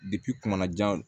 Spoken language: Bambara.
jan